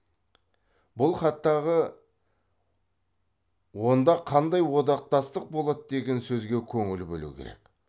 бұл хаттағы онда қандай одақтастық болады деген сөзге көңіл бөлу керек